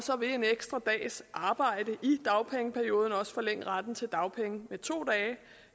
vil en ekstra dags arbejde i dagpengeperioden forlænge retten til dagpenge med to